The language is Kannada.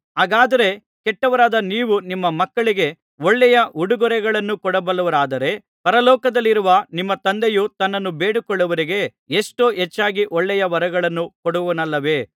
ಹಾಗಾದರೆ ಕೆಟ್ಟವರಾದ ನೀವು ನಿಮ್ಮ ಮಕ್ಕಳಿಗೆ ಒಳ್ಳೆಯ ಉಡುಗೊರೆಗಳನ್ನು ಕೊಡಬಲ್ಲವರಾದರೆ ಪರಲೋಕದಲ್ಲಿರುವ ನಿಮ್ಮ ತಂದೆಯು ತನ್ನನ್ನು ಬೇಡಿಕೊಳ್ಳುವವರಿಗೆ ಎಷ್ಟೋ ಹೆಚ್ಚಾಗಿ ಒಳ್ಳೆಯ ವರಗಳನ್ನು ಕೊಡುವನಲ್ಲವೇ